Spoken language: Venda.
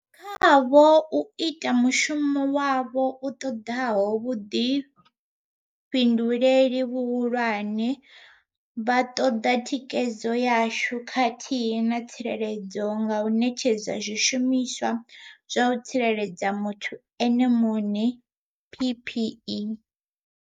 Khavho u ita mushumo wavho u ṱoḓaho vhuḓifhinduleli vhuhulwane vha ṱoḓa thikhedzo yashu khathihi na tsireledzo nga u ṋetshedza zwishumiswa zwa u tsireledza muthu ene muṋe PPE.